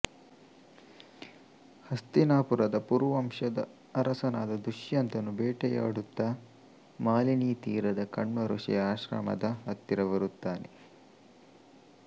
ಹಸ್ತಿನಾಪುರದ ಪುರುವಂಶದ ಅರಸನಾದ ದುಷ್ಯಂತನು ಬೇಟೆಯಾಡುತ್ತಾ ಮಾಲಿನೀ ತೀರದ ಕಣ್ವ ಋಷಿಯ ಆಶ್ರಮದ ಹತ್ತಿರ ಬರುತ್ತಾನೆ